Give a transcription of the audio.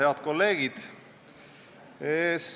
Head kolleegid!